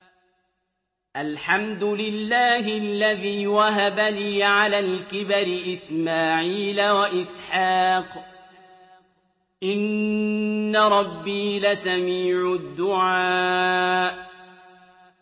الْحَمْدُ لِلَّهِ الَّذِي وَهَبَ لِي عَلَى الْكِبَرِ إِسْمَاعِيلَ وَإِسْحَاقَ ۚ إِنَّ رَبِّي لَسَمِيعُ الدُّعَاءِ